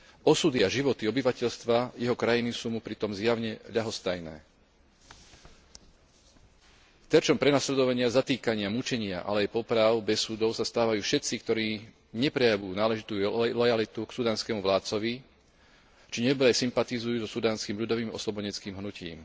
Osudy a životy obyvateľstva jeho krajiny sú mu pritom zjavne ľahostajné terčom prenasledovania, zatýkania, mučenia, ale aj popráv bez súdov sa stávajú všetci, ktorí neprejavujú náležitú lojalitu k sudánskemu vládcovi, či nebodaj sympatizujú so Sudánskym ľudovým oslobodeneckým hnutím.